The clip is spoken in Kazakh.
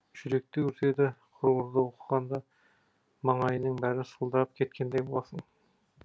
жүректі өртеді құрғыр ды оқығанда маңайыңның бәрі сылдырлап кеткендей боласың